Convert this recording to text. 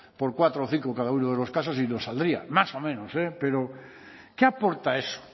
por cuatro o cinco cada uno de los casos y nos saldría más o menos pero qué aporta eso